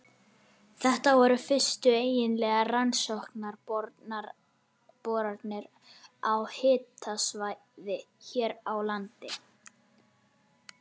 Þetta voru fyrstu eiginlegar rannsóknarboranir á háhitasvæði hér á landi.